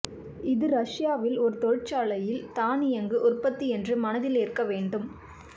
இது ரஷ்யாவில் ஒரு தொழிற்சாலையில் தானியங்கு உற்பத்தி என்று மனதில் ஏற்க வேண்டும்